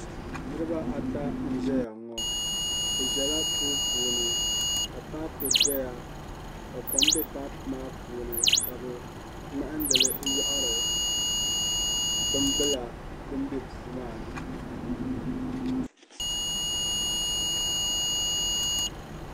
Niriba ata n ʒɛya ŋo. Bɛ ʒɛla puu puuni ka papu doya ka kom be papu maa puuni ka bɛ ŋmahindili n yɔɣiri binbila din be puumaa ni